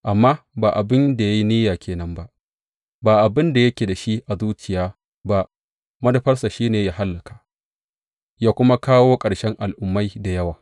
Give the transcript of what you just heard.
Amma ba abin da ya yi niyya ke nan ba, ba abin da yake da shi a zuciya ba; manufarsa shi ne yă hallaka, yă kuma kawo ƙarshen al’ummai da yawa.